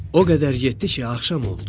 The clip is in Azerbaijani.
O qədər getdi ki, axşam oldu.